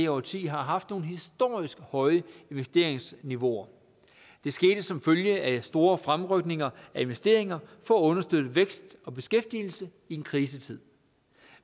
årtiet har haft nogle historisk høje investeringsniveauer det skete som følge af store fremrykninger af investeringer for at understøtte vækst og beskæftigelse i en krisetid